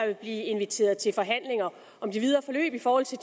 vil blive inviteret til forhandlinger om det videre forløb i forhold til